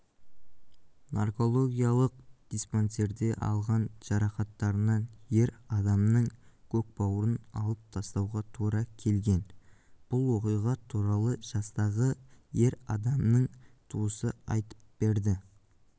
наркологиялық диспансерде алған жарақаттарынан ер адамның көкбауырын алып тастауға тура келген бұл оқиға туралы жастағы ер адамның туысы айтып берді